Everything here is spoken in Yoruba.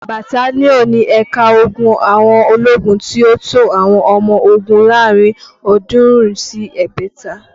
Bataliọnú ni ẹ̀ka ogun àwọn ológun tí ó tó àwọn ọmọ ogún láàárín ọ̀ọ́dúnrún sí ẹgbẹ̀ta